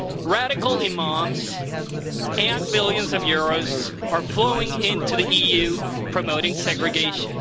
Radical imams and billions of euros are flowing into the EU, promoting segregation.